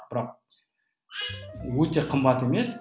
бірақ өте қымбат емес